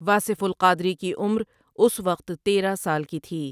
واصف القادری کی عمر اس وقت تیرہ سال کی تھی ۔